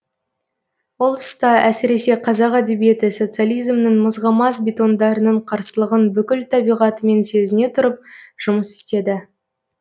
ол тұста әсіресе қазақ әдебиеті социализмнің мызғымас бетондарының қарсылығын бүкіл табиғатымен сезіне тұрып жұмыс істеді